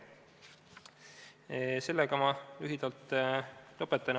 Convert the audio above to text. Sellega ma lõpetan.